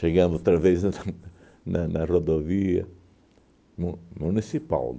outra vez na na rodovia mu municipal.